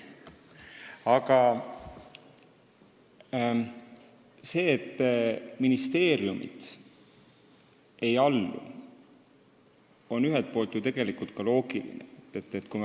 Aga see, et ministeeriumid ei allu, on ühelt poolt ju ka loogiline.